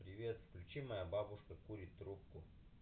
привет включи моя бабушка курит трубку